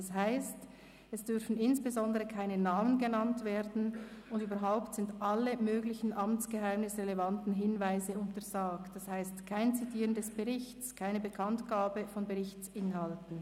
Das heisst, es dürfen insbesondere keine Namen genannt werden, und überhaupt sind alle möglichen amtsgeheimnisrelevanten Hinweise untersagt, das heisst kein Zitieren des Berichts, keine Bekanntgabe von Berichtsinhalten.